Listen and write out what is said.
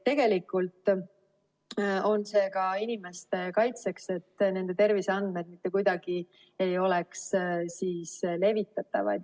Tegelikult on see ka inimeste kaitseks, et nende terviseandmed mitte kuidagi ei oleks levitatavad.